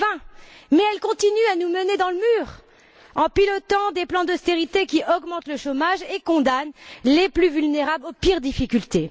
2020. Mais elle continue à nous mener dans le mur en pilotant des plans d'austérité qui augmentent le chômage et condamnent les plus vulnérables aux pires difficultés.